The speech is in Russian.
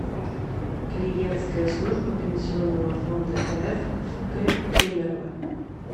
клиентская служба пенсионного фонда рф в г кемерово